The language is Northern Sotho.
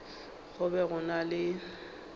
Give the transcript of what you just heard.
go be go na le